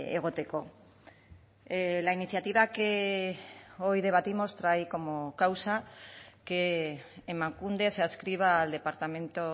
egoteko la iniciativa que hoy debatimos trae como causa que emakunde se adscriba al departamento